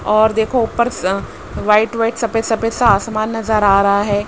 और देखो ऊपर स वाइट वाइट सफेद सफेद सा आसमान नजर आ रहा है।